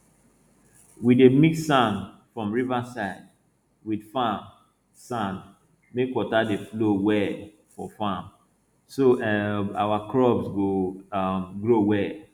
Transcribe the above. we dey mix sand from riverside wit farm sand make water dey flow well for farm so um our crops go um grow well